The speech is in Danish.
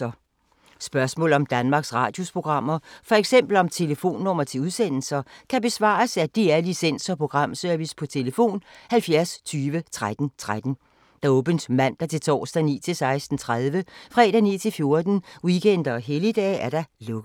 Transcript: Spørgsmål om Danmarks Radios programmer, f.eks. om telefonnumre til udsendelser, kan besvares af DR Licens- og Programservice: tlf. 70 20 13 13, åbent mandag-torsdag 9.00-16.30, fredag 9.00-14.00, weekender og helligdage: lukket.